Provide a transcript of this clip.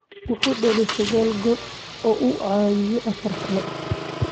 Wuxuu dhaliyay saqal gool oo uu caawiyay afar kale.